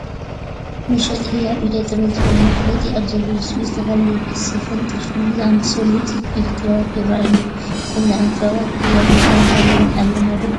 መሸጢ ህያብ ኢደ-ጥበባት ዝብል መፋለጢ ኣብ ዘለዎ ሹቕ ዝተፈላለዩ ከስ ስፈን ጥልፍን ዝኣምሰሉ ውፅኢት ኢደ ጥበባት ይርአየዉ ኣለዉ፡፡ ከምዚ ዓይነት ጥበባት ብህያብነት ናይ ምሃብ ልምዲ ኣለና ዶ?